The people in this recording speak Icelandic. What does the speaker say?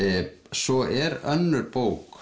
svo er önnur bók